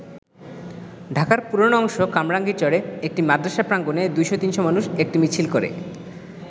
ঢাকার পুরোনো অংশ কামরাঙ্গীর চরে একটি মাদ্রাসা প্রাঙ্গনে ২০০-৩০০ মানুষ একটি মিছিল করে।